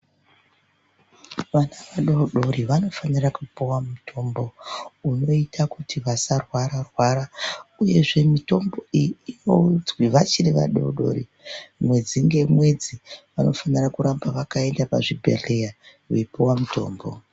Vana vadodori vanofanira kupuwa mutombo, unoita kuti vasarwara-rwara, uyezve mitombo iyi, inonzi vachiri vadodori, mwedzi ngemwedzi, vanofanira kuramba vakaenda pazvibhedhleya, veipiwa mitombo.